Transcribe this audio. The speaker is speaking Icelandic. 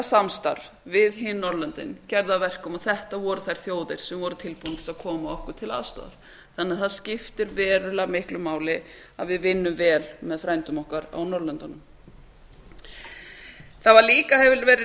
samstarf við hin norðurlöndin gerði það að verkum að þetta voru þær þjóðir sem voru tilbúnar til að koma okkur til aðstoðar það skiptir verulega miklu máli að við vinnum vel með frændum okkar á norðurlöndunum það hefur líka verið